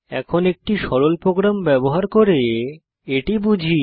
এখন একটি সরল প্রোগ্রাম ব্যবহার করে এটি বুঝি